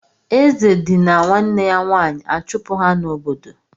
Eze dinira nwanne ya nwaanyị a chụpụ ha n'obodo.